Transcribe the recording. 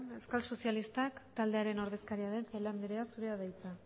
euskal sozialistak taldearen ordezkaria den celaá andrea zurea da hitza